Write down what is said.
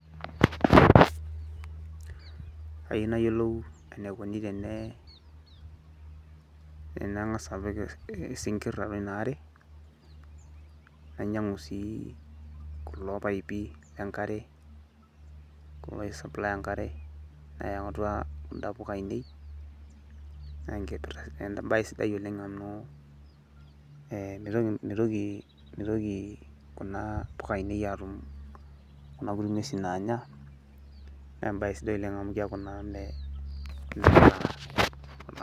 Kayieu nayiolou enikoni tene tanang'asa apik isinkirr atua inaare, nainyang'u si kulo paipi lenkare, kulo oi supply enkare, ayau atua kunda puka ainei, na enkipirta ebae sidai oleng amu mitoki kuna puka ainei atum kuna kuti ng'uesin naanya, naa ebae sidai oleng amu keeku naa meeta.